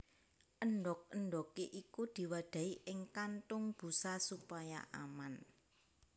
Endhog endhoge iku diwadahi ing kantung busa supaya aman